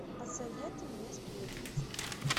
посоветуй мне сплетница